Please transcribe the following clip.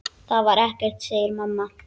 Það var ekkert, segir mamma.